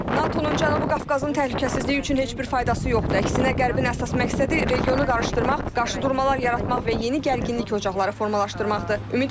NATO-nun Cənubi Qafqazın təhlükəsizliyi üçün heç bir faydası yoxdur, əksinə qərbin əsas məqsədi regionu qarışdırmaq, qarşıdurmalar yaratmaq və yeni gərginlik ocaqları formalaşdırmaqdır.